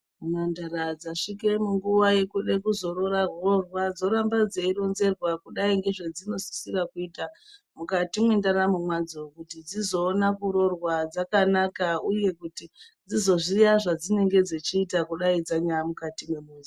Mhandara dzasvike munguwa yekuda kuroora hohwa dzoramba dzeironzerwa kudai ngedzezvinosisira kuita mukati mwendaramu mwadzo kuti dzizoona kuroorwa dzakanaka uye kuti dzizoziya zvadzinenge dzichita kudai dzanya mukati mwemuzi.